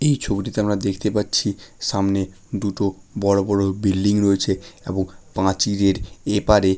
এই ছবিটিতে আমরা দেখতে পাচ্ছি সামনে দুটো বড় বড় বিল্ডিং রয়েছে এবং পাঁচিরের এপারে--